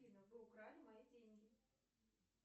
афина вы украли мои деньги